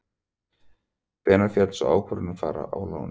Hvenær féll sú ákvörðun að fara á láni?